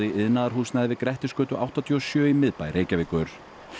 í iðnaðarhúsnæði við Grettisgötu áttatíu og sjö í miðbæ Reykjavíkur